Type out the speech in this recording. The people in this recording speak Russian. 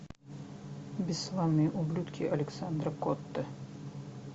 бесславные ублюдки александра котта